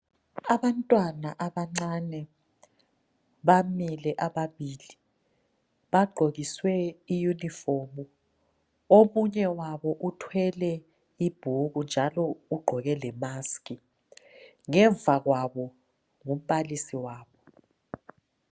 Abantwana abancane bamile ababili bagqokiswe iyunifomu. Omunye wabo uthwele ibhuku njalo ugqoke le"mask".Ngemva kwabo ngumbalisi wabo.